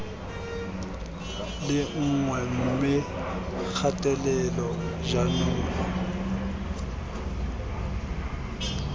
le nngwe mme kgatelelo jaanong